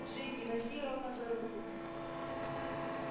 джинни возьми рона за руку